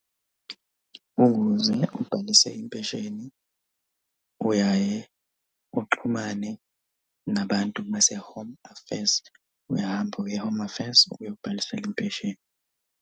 Ukuze ubhalise impesheni uyaye uxhumane nabantu base home affairs. Uyahamba uye e-home affairs uyobhalisela impesheni.